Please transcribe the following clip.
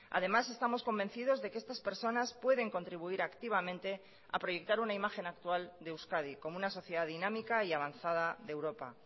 además estamos convencidos de que estas personas pueden contribuir activamente a proyectar una imagen actual de euskadi como una sociedad dinámica y avanzada de europa